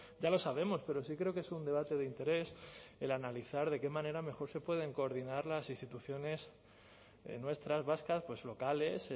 ya lo sabemos pero sí creo que es un debate de interés el analizar de qué manera mejor se pueden coordinar las instituciones nuestras vascas pues locales